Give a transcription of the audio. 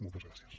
moltes gràcies